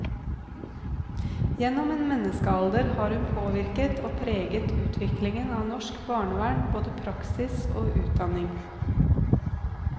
Gjennom en menneskealder har hun påvirket og preget utviklingen av norsk barnevern, både praksis og utdanning.